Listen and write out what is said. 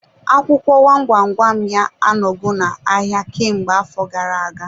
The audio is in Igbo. Akwụkwọ gwam gwam gwam ya a n'ogo na-ahịa kemgbe afọ gara-aga.